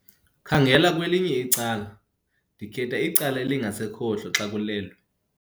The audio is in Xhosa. Khangela kwelinye icala. ndikhetha icala elingasekhohlo xa kulelwe